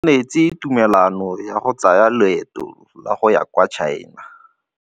O neetswe tumalanô ya go tsaya loetô la go ya kwa China.